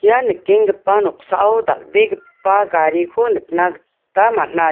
ia nikenggipa noksao dal·begipa gariko nikna gita man·a je--.